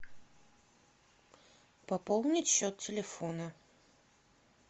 пополнить счет телефона